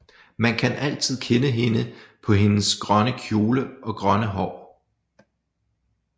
Man kan altid kende hende på hendes grønne kjole og grønne hår